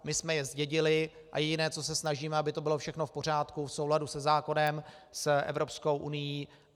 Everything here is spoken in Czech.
My jsme je zdědili a jediné, o co snažíme, aby to bylo všechno v pořádku, v souladu se zákonem, s Evropskou unií.